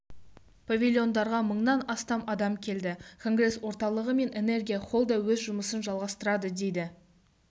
павильондарға мыңнан астам адам келді конгресс орталығы мен энергия холл да өз жұмысын жалғастырады деді